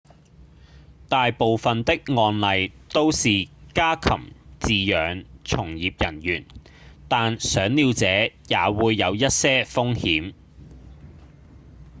大部分的案例都是家禽飼養從業人員但賞鳥者也會有一些風險